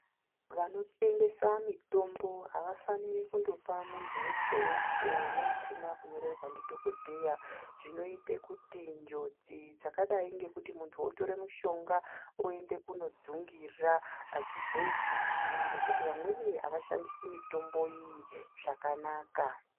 Vanotengesa mitombo avafaniri kundopa muntu weshe neusina kunyorerwa ndidhokodheya zvinoita kuti njodzi dzakadai nekuti muntu otora mushonga oenda kundojungira azvizoitiki ngekuti vamweni avashandiri mitombo iyi zvakanaka.